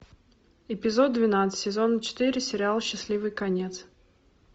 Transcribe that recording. эпизод двенадцать сезона четыре сериал счастливый конец